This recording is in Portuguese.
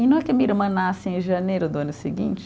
E não é que a minha irmã nasce em janeiro do ano seguinte?